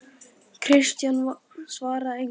Christian svaraði engu.